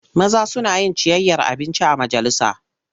Maza suna yin ciyayyar abinci a majalisa.